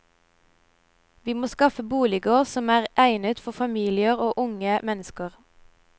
Vi må skaffe boliger som er egnet for familier og unge mennesker.